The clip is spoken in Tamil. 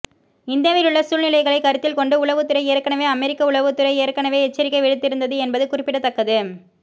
இந்தியாவிலுள்ள சூழ்நிலைகளை கருத்தில் கொண்டு உளவுத்துறை ஏற்கனவே அமெரிக்க உளவுத்துறை ஏற்கனவே எச்சரிக்கை விடுத்திருந்தது என்பது குறிப்பிடத்தக்கது